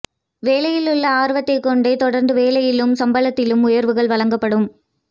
வேலையில் உள்ள ஆர்வத்தை கொண்டு தொடர்ந்து வேலையிலும் சம்பளத்திலும் உயர்வுகள் வழங்கப்படும்